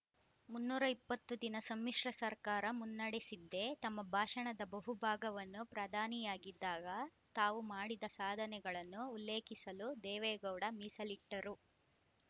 ಮುನ್ನೂರ ಇಪ್ಪತ್ತು ದಿನ ಸಮ್ಮಿಶ್ರ ಸರ್ಕಾರ ಮುನ್ನಡೆಸಿದ್ದೆ ತಮ್ಮ ಭಾಷಣದ ಬಹುಭಾಗವನ್ನು ಪ್ರಧಾನಿಯಾಗಿದ್ದಾಗ ತಾವು ಮಾಡಿದ ಸಾಧನೆಗಳನ್ನು ಉಲ್ಲೇಖಿಸಲು ದೇವೇಗೌಡ ಮೀಸಲಿಟ್ಟರು